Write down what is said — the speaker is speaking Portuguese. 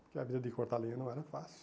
Porque a vida de cortar lenha não era fácil.